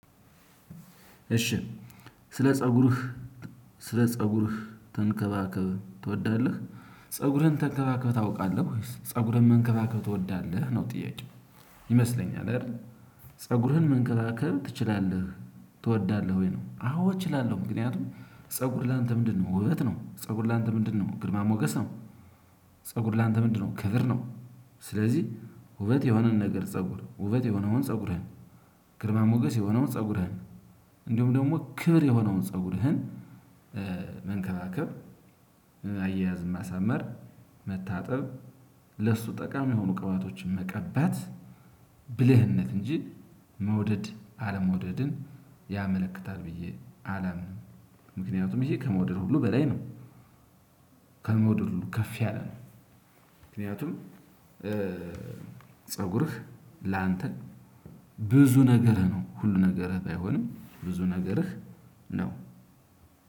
እሺ ስለ ፀጉርህ ስለ ፀጉርህ ተንከባከብ ትወዳለህ? ፀጉርህን ተንከባከበህ ታውቃለህ ወይስ ፀጉርህን መንከባከብ ትወዳለህ? ነው ጥያቄው ይመስለኛል አይደል ፀጉርህን መንከባከብ ትችላለህ ትወዳለህ ወይ ነው። አዎ እችላለሁ። ምክንያቱም ፀጉር ላንተ ምንድነው ውበት ነው፣ ፀጉር ላንተ ምንድነው ግድማ ሞገስ ነው፣ ፀጉር ላንተ ምንድነው ክብር ነው፣ ስለዚህ ውበት የሆነን ነገር ፀጉር፣ ውበት የሆነውን ፀጉርህን፣ ግርማ ሞገስ የሆነውን ፀጉርህን፣ እንዲሁም ደግሞ ክብር የሆነውን ፀጉርህን መንከባከብ አያያዝም ማሳመር፣ መታጠብ፣ ለሱ ጠቃሚ የሆኑ ቅባቶችን መቀባት ብልህነት እንጂ መውደድ አለመውደድን ያመለክታል ብዬ አላምንም። ምክንያቱም ይሄ ከመውደድ ሁሉ በላይ ነው። ከመውደድ ሁሉ ከፍ ያለ ነው። ምክንያቱም ፀጉርህ ላንተ ብዙ ነገርህ ነው። ሁሉ ነገርህ ባይሆንም ብዙ ነገርህ ነው።